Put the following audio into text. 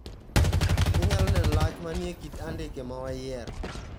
Inyalo neno lach maniekit andike mawayiero.